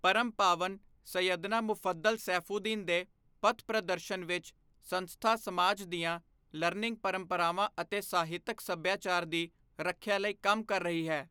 ਪਰਮ ਪਾਵਨ ਸਯਦਨਾ ਮੁਫੱਦਲ ਸੈਫੂਦੀਨ ਦੇ ਪਥਪ੍ਰਦਰਸ਼ਨ ਵਿੱਚ, ਸੰਸਥਾ ਸਮਾਜ ਦੀਆਂ ਲਰਨਿੰਗ ਪਰੰਪਰਾਵਾਂ ਅਤੇ ਸਾਹਿਤਕ ਸੱਭਿਆਚਾਰ ਦੀ ਰੱਖਿਆ ਲਈ ਕੰਮ ਕਰ ਰਹੀ ਹੈ।